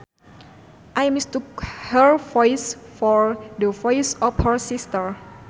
I mistook her voice for the voice of her sister